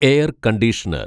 air conditioner